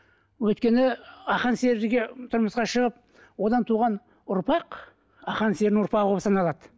өйткені ақан серіге тұрмысқа шығып одан туған ұрпақ ақан серінің ұрпағы болып саналады